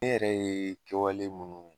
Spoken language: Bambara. Ne yɛrɛ ye kɛwale mun